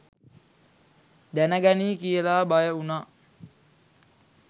දැන ගනී කියලා බය උණා.